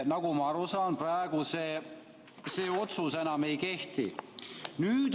Nagu ma aru saan, praegu see otsus enam ei kehti.